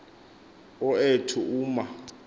o ethu uma